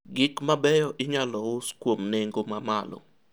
gik mabeyo inyalo us kuom nengo mamalo